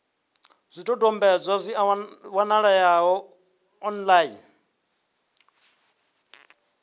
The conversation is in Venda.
zwidodombedzwa zwi a wanalea online